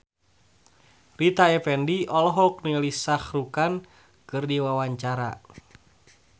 Rita Effendy olohok ningali Shah Rukh Khan keur diwawancara